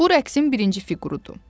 Bu rəqsin birinci fiqurudu.